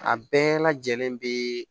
A bɛɛ lajɛlen be